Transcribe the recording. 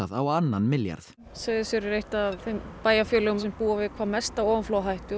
á annan milljarð Seyðisfjörður er eitt af þeim bæjarfélögum sem búa við hvað mesta ofanflóðahættu og